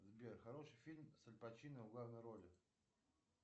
сбер хороший фильм с аль пачино в главной роли